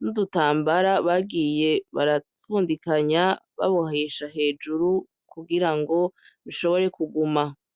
n'udutambara bagiye barabundikanya babohesha hejuru kugira ngo bishobore kuguma.